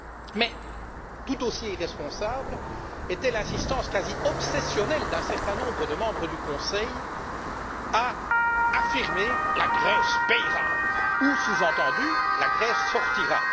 Mais tout aussi irresponsable était l'insistance quasi obsessionnelle d'un certain nombre de membres du Conseil à affirmer La Grèce paiera! ou, sous entendu, la Grèce sortira!,